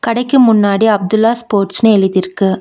கடைக்கு முன்னாடி அப்துல்லா ஸ்போர்ட்ஸ்னு எழுதிருக்கு.